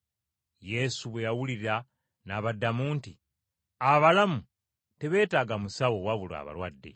Yesu bwe yawulira n’abaddamu nti, “Abalamu tebeetaaga musawo wabula abalwadde.